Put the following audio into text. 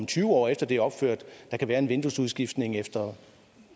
tyve år efter det er opført der kan være en vinduesudskiftning efter